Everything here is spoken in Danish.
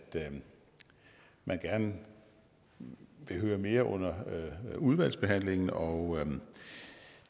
man gerne vil høre mere under udvalgsbehandlingen og